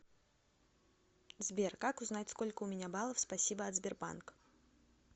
сбер как узнать сколько у меня баллов спасибо от сбербанк